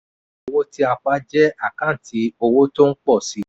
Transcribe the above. owó tí a pa jẹ́ àkáǹtì owó tó ń pọ̀ síi.